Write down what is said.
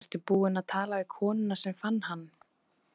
Ertu búinn að tala við konuna sem fann hann?